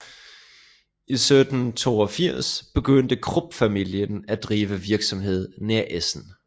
I 1782 begyndte Krupp familien af drive virksomhed nær Essen